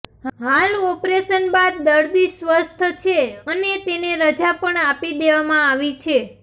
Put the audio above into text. હાલ ઓપરેશન બાદ દર્દી સ્વસ્થ છે અને તેને રજા પણ આપી દેવામાં આવી છે